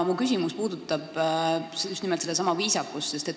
Minu küsimus puudutab just nimelt sedasama viisakust.